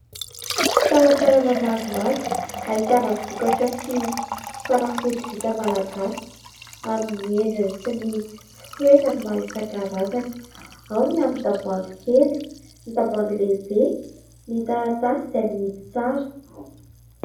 Talatalana maromaro ahitana vokatra sy fanafody vita malagasy amin'ny endriny sy ny fitoerany maro isan-karazany : ao ny amin'ny tavohangy kely, ny tavohangy lehibe, ny taratasy izay mihidy tsara.